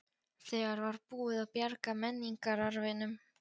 Þegar var búið að bjarga menningararfinum.